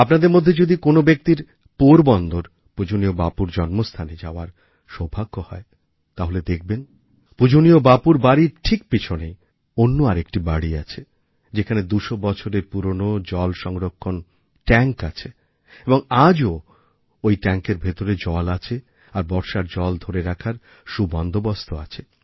আপনাদের মধ্যে যদি কোনও ব্যক্তির পোরবন্দর পূজনীয় বাপুর জন্ম স্থানে যাওয়ার সৌভাগ্য হয় তাহলে দেখবেন পূজনীয় বাপুর বাড়ির ঠিক পিছনেই অন্য আর একটি বাড়ি আছে যেখানে দুশো বছরের পুরনো জল সংরক্ষণ ট্যাঙ্ক আছে এবং আজও ওই ট্যাঙ্কের ভিতর জল আছে আর বর্ষার জল ধরে রাখার সুবন্দোবস্ত আছে